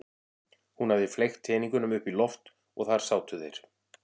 Hún hafði fleygt teningunum upp í loft og þar sátu þeir.